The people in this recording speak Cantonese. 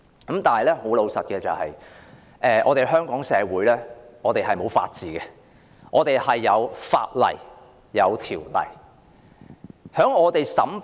然而，老實說，香港社會是沒有法治的，我們只有法例和條例。